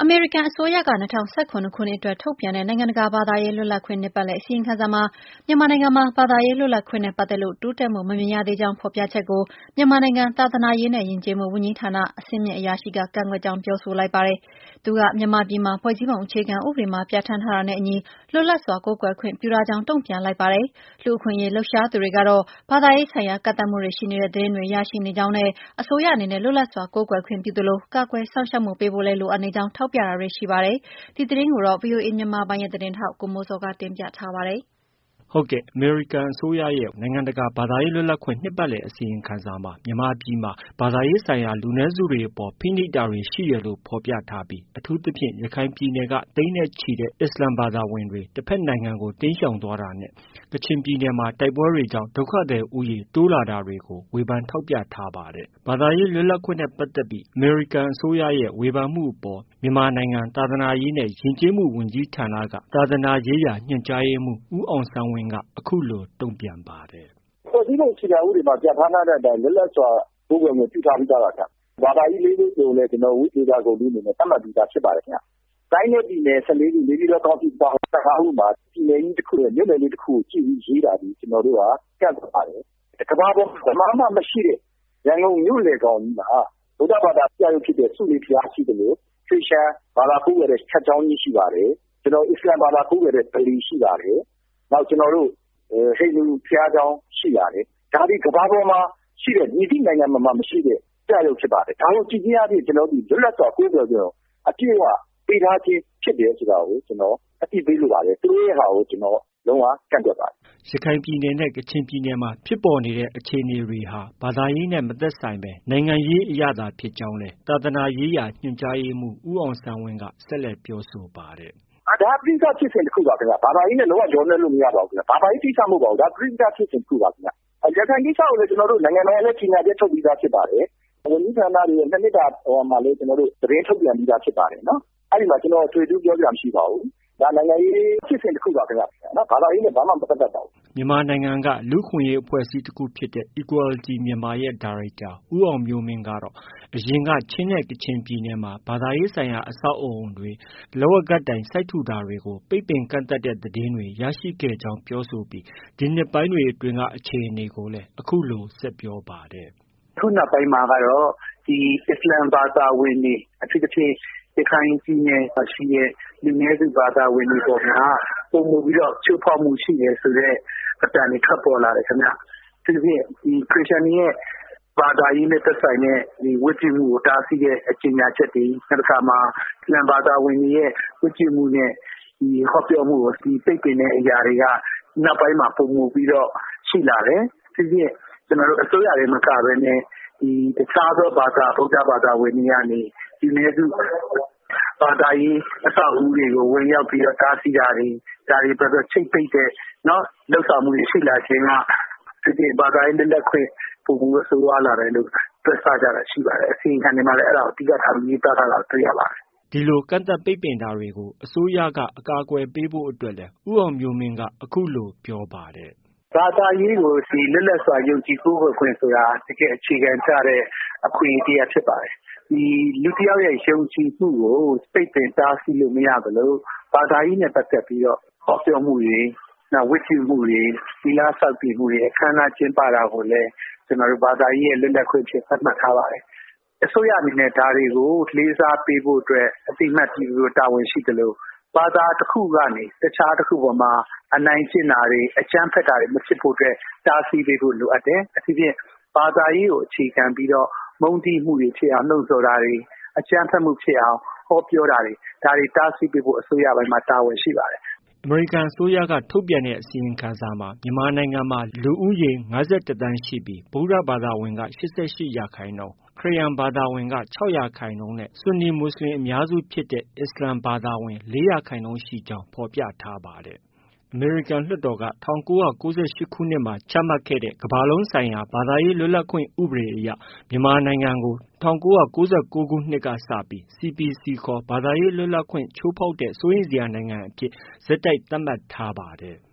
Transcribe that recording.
မေရိကန်အစိုးရက ၂၀၁၇ ခုနှစ်အတွက် ထုတ်ပြန်တဲ့ နိုင်ငံတကာဘာသာရေး လွတ်လပ်ခွင့် နှစ်ပတ်လည် အစီရင်ခံစာမှာ မြန်မာနိုင်ငံမှာ ဘာသာရေး လွတ်လပ်ခွင့်နဲ့ ပတ်သက်လို့ တိုးတက်မှုမမြင်ရသေးကြောင်း ဖော်ပြချက်ကို မြန်မာနိုင်ငံ သာသနာရေးနဲ့ ယဉ်ကျေးမှုဝန်ကြီးဌာနက အဆင့်မြင့်အရာရှိက ကန့်ကွက်ကြောင်း ပြောဆိုလိုက်ပါတယ်။ သူက မြန်မာပြည်မှာ ဖွဲ့စည်းပုံအခြေခံ ဥပဒေမှာ ပြဌာန်းထားတာနဲ့အညီ လွတ်လပ်စွာကိုးကွယ်ခွင့်ပြုထားကြောင်း တုံပြန်လိုက်ပါတယ်။ လူအခွင့်အရေးလှုပ်ရှားသူတွေကတော့ ဘာသာရေးဆိုင်ရာ ကန့်သတ်မှုတွေ ရှိနေတဲ့သတင်းတွေ ရရှိနေကြာင်းနဲ့ အစိုးရအနေနဲ့ လွတ်လပ်စွာကိုးကွယ်ခွင့်ပြုသလို ကာကွယ်စောင့်ရှောက်ပေးဖို့လည်း လိုအပ်နေကြောင်း ထောက်ပြတာတွေ ရှိနေပါတယ်။ ဒီသတင်းကိုတော့ ဗွီအိုအေမြန်မာပိုင်းရဲ့သတင်းထောက် ကိုမိုးဇော်က တင်ပြထားပါတယ်။ အမေရိကန်အစိုးရက နိုင်ငံတကာဘာသာရေးလွတ်လပ်ခွင့် နှစ်ပတ်လည်အစီရင်ခံစာမှာ ဘာသာရေးဆိုင်ရာ လူနည်းစုတွေအပေါ် ဖိနှိပ်မှုတွေရှိတယ်လို့ ဖော်ပြထားပြီး အထူးသဖြင့် ရခိုင်ပြည်နယ်က သိန်းနဲ့ချီတဲ့ အစ္စလာမ်ဘာသာဝင်တွေ တဘက်နိုင်ငံကို တိမ်းရှောင်သွားတာ နဲ့ ကချင်ပြည်နယ်မှာ တိုက်ပွဲတွေကြောင့် ဒုက္ခသည်ဦးရေ တိုးတက်လာတာတွေကို ိုထောက်ပြဝေဖန်ထားတာဖြစ်ပါတယ်။ ဘာသာရေးလွတ်လပ်ခွင့်နဲ့ပတ်သက်ပြီး အမေရိကန်အစိုးရရဲ့ ဝေဖန်မှုအပေါ် မြန်မာနိုင်ငံ သာသနာရေးနဲ့ ယဉ်ကျေးမှုဝန်ကြီးဌာနက သာသနာရေးရာညွှန်ကြားရေးမှုး ဦးအောင်ဆန်းဝင်းက အခုလို တုံပြန်ပါတယ်။ “ ဖွဲ့စည်းပုံအခြေခံဥပဒေမှာ ပြဌာန်းထားတဲ့အတိုင်း လွတ်လပ်စွာ ကိုးကွယ်ခွင့်ပြုထားပြီးသားပါခင်ဗျ။ ဘာသာကြီး ၄မျိုးကိုလည်း ဝိသေသ ဂုဏ်ထူးအနေနဲ့ သတ်မှတ်ပြီးသားဖြစ်ပါတယ်ခင်ဗျ။ တိုင်းနဲ့ပြည်နယ် ၁၄ခု ၊ နေပြည်တော်ကောင်စီအပါအဝင် ၁၅ခုမှာ ပြည်နယ်တခုရဲ့ မြို့နယ် တခုကို ရေးတာသည် ကျနော်တို့က ကန့်ကွက်ပါတယ်။ ကမ္ဘာပေါ်မှာ ဘယ်မှာမှ မရှိတဲ့ ရန်ကုန်မြို့ လယ်ကောင်ကြီးမှာ ဗုဒ္ဓဘာသာပြယုဂ်ဖြစ်တဲ့ ဆူးလေဘုရားရှိသလို ခရစ်ယာန်ဘာသာကိုးကွယ်တဲ့ church ကျောင်းကြီး ရှိပါတယ်။ အစ္စလာမ်ဘာသာကိုးကွယ်တဲ့ ပလီရှိပါတယ်။ နောက်ကျနော်တို့ ဟိန္ဒူဘုရားကျောင်းရှိပါတယ်။ ဒါသည် ကမ္ဘာပေါ်မှာ ရှိတဲ့ မည်သည့်နိုင်ငံမှာမှ မရှိတဲ့ ပြယုဂ်ဖြစ်ပါတယ်။ ဒါကို ကြည့်ခြင်းအားဖြင့် ကျနော်တို့သည် လွတ်လပ်စွာကိုးကွယ်ခွင့်ကို အပြည့်အဝပေးထားခြင်းဖြစ်တယ်ဆိုတာကို ကျနော် အသိပေးလိုပါတယ်။ သူတို့ရဲ့ဥစ္စာကို ကျနော် လုံး၀ ကန့်ကွက်ပါတယ်။ ” ရခိုင်ပြည်နယ်နဲ့ ကချင်ပြည်နယ်မှာ ဖြစ်ပေါ်နေတဲ့အခြေအနေအပေါ်မှာတော့ ဒါတွေဟာ ဘာသာရေးနဲ့ မသက်ဆိုင်ဘဲ နိုင်ငံရေးအရသာဖြစ်ကြောင်းလည်း သာသနာရေးရာညွှန်ကြားရေးမှုး ဦးအောင်ဆန်းဝင်းက ဆက်လက်ပြောဆိုပါတယ်။ “ ဒါက ပဋိပက္ခဖြစ်စဉ်တခုပါဗျ။ ဘာသာရေးနဲ့ လုံး၀ ရောနှောလို့ မရပါဘူး။ ဘာသာရေးကိစ္စမဟုတ်ပါဘူး။ ပဋိပက္ခဖြစ်စဉ်တခုပါ။ ရခိုင်ကိစ္စကိုလည်း နိုင်ငံတော်က ကြေညာချက် ထုတ်ပြီးသားဖြစ်ပါတယ်။ ဝန်ကြီးဌာနတွေရဲ့ ၂နှစ်တာ ဟိုဟာမှာလည်း သတင်းထုတ်ပြန်ပြီးသားဖြစ်ပါတယ်။ အဲဒီမှာ ကျနော် အထွေအထူးပြောစရာမရှိပါဘူး။ ဒါနိုင်ငံရေးဖြစ်စဉ်တခုပါခင်ဗျ။ ဘာသာရေးနဲ့ လုံး၀ မပတ်သက်ပါဘူး။ ” မြန်မာနိုင်ငံက လူ့အခွင့်အရေးအဖွဲ့အစည်းတခုဖြစ်တဲ့ Equality Myanmar ရဲ့ ဒါရိုက်တာ ဦးအောင်မျိုးမင်းကတော့ အရင်က ချင်းနဲ့ ကချင်ပြည်နယ်မှာ ဘာသာရေးဆိုင်ရာ အဆောက်အဦးတွေ၊လက်ဝါးကပ်တိုင် စိုက်ထူတာတွေကို ပိတ်ပင်ကန့်သတ်တဲ့သတင်းတွေ ရရှိခဲ့ကြောင်း ပြောဆိုပြီး ဒီနှစ်ပိုင်းတွေအတွင်းက အခြေအနေကိုလည်း အခုလို ဆက်ပြောပါတယ်။ “ အခုနောက်ပိုင်းမှာကတော့ အစ္စလာမ်ဘာသာဝင်တွေ အထူးသဖြင့် ရခိုင်ပြည်နယ်မှာရှိတဲ့ လူနည်းစုဘာသာဝင်တွေအပေါ်မှာ ပိုမိုပြီးတော့ ချိုးဖောက်မှုရှိတယ်ဆိုတဲ့ အသံတွေ ထွက်ပေါ်လာတယ်ခင်ဗျ။ အထူးသဖြင့် ခရစ်ယာန်တွေရဲ့ ဘာသာရေးနဲ့သက်ဆိုင်တဲ့ ဝတ်ပြုမှုကို တားဆီးတဲ့ ကြေညာချက်တွေ၊ နောက်တခါ အစ္စလာမ်ဘာသာဝင်တွေရဲ့ ဝတ်ပြုမှုနဲ့ ဟောပြောမှုတွေကို ပိတ်ပင်တဲ့အရာတွေက နောက်ပိုင်းမှာ ပိုမိုပြီးတော့ ရှိလာတယ်။ အထူးသဖြင့် အစိုးရတင်မကဘဲနဲ့ တခြားသောဘာသာဝင်တွေ ဗုဒ္ဓဘာသာဝင်တွေကနေ လူနည်းစု ဘာသာရေးအဆောက်အဦးတွေကို ဝင်ရောက်တားဆီးတာတွေ၊ ချိပ်ပိတ်တဲ့ လုပ်ဆောင်မှုတွေ ရှိလာခြင်းက ဘာသာရေးလွတ်လပ်ခွင့် ပိုမိုဆိုးဝါးလာတယ်လို့ တွက်ဆကြတာရှိပါတယ်။ အစီရင်ခံစာတွေမှာလည်း အဲဒါတွေကို အလေးထားရေးသားထားတာ တွေ့ရပါတယ်။ ” ဒီလို ကန့်သတ်ပိတ်ပင်တာတွေကို အစိုးရက အကာအကွယ်ပေးဖို့အတွက်လည်း ဦးအောင်မျိုးမင်းက အခုလို ဆက်ပြောပါတယ်။ “ ဘာသာရေးကို ဒီလွတ်လပ်စွာယုံကြည်ကိုးကွယ်ခွင့်ဆိုတာ အခြေခံကျတဲ့ အခွင့်အရေးတရပ်ဖြစ်ပါတယ်။ လူတယောက်ရဲ့ ယုံကြည်မှုကို ပိတ်ပင်တားဆီးလို့ မရသလို ဘာသာရေးနဲ့ပတ်သက်ပြီးတော့ ဟောပြောမှုတွေ၊ ဝတ်ပြုမှုတွေ၊ သီလဆောက်တည် တာတွေ၊ အခမ်းအနားကျင်းပတာကိုလည်း ဘာသာရေးရဲ့လွတ်လပ်ခွင့်အဖြစ် သတ်မှတ်ထားပါတယ်။ အစိုးရအနေနဲ့ ဒါတွေကို လေးစားပေးဖို့အတွက် အသိအမှတ်ပြုပေးဖို့အတွက် တာဝန်ရှိသလို ဘာသာတခုကနေ တခြားတခုအပေါ်မှာအနိုင်ကျင့်တာတွေ အကြမ်းဖက်တာတွေ မဖြစ်ဖို့အတွက် တားဆီးပေးဖို့ လိုအပ်တယ်။ အထူးသဖြင့် ဘာသာရေးကို အခြေခံပြီးတော့ မုန်းတီးမှုတွေဖြစ်ပေါ်အောင် လှုံဆော်တာတွေ အကြမ်းဖက်မှုဖြစ်အောင် ဟောပြောတာတွေ ဒါတွေ တားဆီးပေးဖို့ အစိုးရပိုင်းမှာ တာဝန်ရှိပါတယ်။ ” အမေရိကန်အစိုးရက ထုတ်ပြန်တဲ့အစီရင်ခံစာမှာ မြန်မာပြည်မှာ လူဦးရေ ၅၁သန်းရှိပြီး ဗုဒ္ဓဘာသာဝင်က ၈၈ရာခိုင်နှုန်း၊ ခရစ်ယာန်ဘာသာဝင် ၆ရာခိုင်နှုန်းနဲ့ ဆွန်နီမူဆလင်အများစုဖြစ်တဲ့ အစ္စလာမ်ဘာသာဝင် ၄ရာခိုင်နှုန်းရှိကြောင်း ဖော်ပြထားပါတယ်။ အမေရိကန်လွှတ်တော်က ၁၉၉၈ ခုနှစ်မှာ ချမှတ်ခဲ့တဲ့ ကမ္ဘာလုံးဆိုင်ရာ ဘာသာရေးလွတ်လပ်ခွင့်ဥပဒေအရ မြန်မာနိုင်ငံကို ၁၉၉၉ ကစပြီး CPC ခေါ် ဘာသာရေးလွတ်လပ်ခွင့် ချိုးဖောက်တဲ့ စိုးရိမ်စရာနိုင်ငံအဖြစ် ဆက်တိုက် သတ်မှတ်ထားပါတယ်။